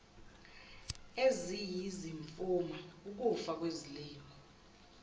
eziyizimfuma ukufa kwezilimo